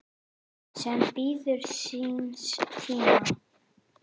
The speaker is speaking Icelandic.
sem bíður síns tíma